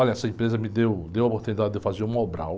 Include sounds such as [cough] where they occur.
Olha, essa empresa me deu, deu a oportunidade de fazer. [unintelligible]